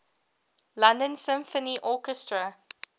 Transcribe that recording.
london symphony orchestra